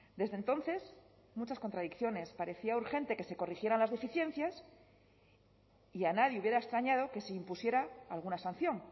desde entonces muchas contradicciones parecía urgente que se corrigieran las deficiencias y a nadie hubiera extrañado que se impusiera alguna sanción